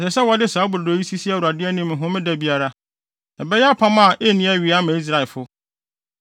Ɛsɛ sɛ wɔde saa brodo yi sisi Awurade anim Homeda biara; ɛbɛyɛ apam a enni awiei ama Israelfo.